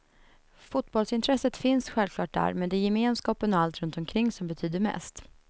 Fotbollsintresset finns självklart där, men det är gemenskapen och allt runt omkring som betyder mest.